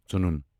ژٕنُن